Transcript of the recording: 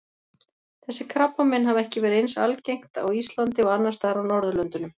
Þessi krabbamein hafa ekki verið eins algengt á Íslandi og annars staðar á Norðurlöndunum.